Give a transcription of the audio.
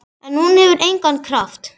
En hún hefur engan kraft.